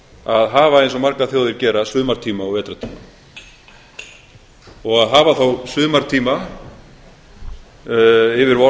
að hafa eins og margar þjóðir gera sumartíma og vetrartíma og að hafa þá sumartíma yfir